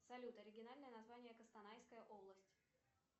салют оригинальное название кустанайская область